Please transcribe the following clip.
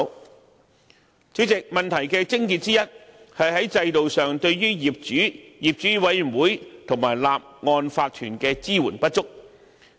代理主席，問題的癥結之一，是在制度上對於業主、業主委員會和法團的支援不足。